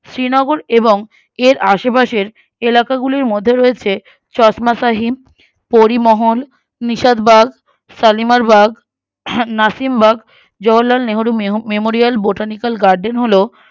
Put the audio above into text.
শ্রীনগর এবং এর আশেপাশের এলাকাগুলির মধ্যে রয়েছে চশ্মাশাহিন্দ পরিমোহন নিসাদবাগ সালিমারবাগ আহ Nasimbagh Jawahar Lal Nehru মেহ Memorial botanical garden হল